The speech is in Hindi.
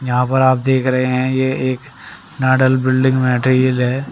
यहां पर आप देख रहे हैं ये एक बिल्डिंग मटेरियल है।